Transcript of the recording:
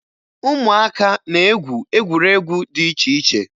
Ụmụaka na-egwu egwuregwu dị iche iche